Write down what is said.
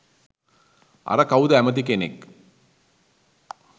අර කවුද ඇමති කෙනෙක්